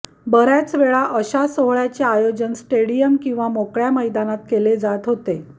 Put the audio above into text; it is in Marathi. बर्याचवेळा अशा सोहळ्याचे आयोजन स्टेडियम किंवा मोकळ्या मैदानात केले जात होते